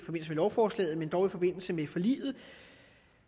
lovforslaget men dog i forbindelse med forliget